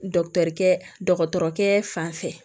kɛ dɔgɔtɔrɔkɛ fan fɛ